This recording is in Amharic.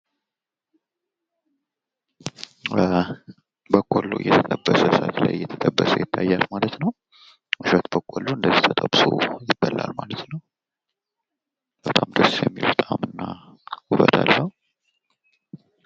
በቆሎ እየተጠበሰ እሳት ላይ እየተጠበሰ ይታያል ማለት ነው። እሸት በቆሎ እንደዚህ ተጠብሶ ይበላል ማለት ተው። ቨጣም ደስ የሚል ጣእምና ውበት አለው።